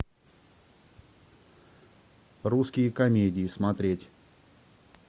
русские комедии смотреть